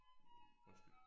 Undskyld